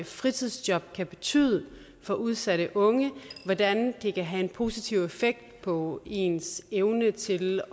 fritidsjob kan betyde for udsatte unge hvordan det kan have en positiv effekt på ens evne til